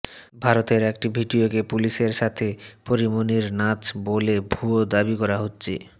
ভারতের একটি ভিডিওকে পুলিশের সাথে পরীমনির নাচ বলে ভুয়া দাবি করা হচ্ছে